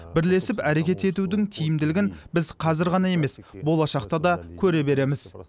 бірлесіп әрекет етудің тиімділігін біз қазір ғана емес болашақта да көре береміз